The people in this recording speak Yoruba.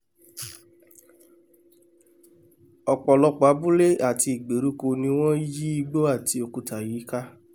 ọpọ̀ lọpọ̀ abúlé àti ìgbèríko ni wọ́n yí igbó àti òkúta yìí ká